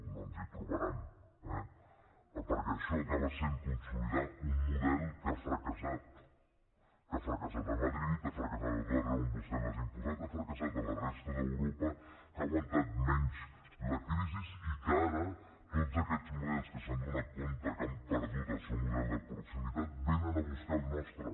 no ens hi trobaran eh perquè això acaba sent consolidar un model que ha fracassat que ha fracassat a madrid ha fracassat a tot arreu on vostès l’han imposat ha fracassat a la resta d’europa que ha aguantat menys la crisi i que ara tots aquests models que s’han adonat que han perdut el seu model de proximitat venen a buscar el nostre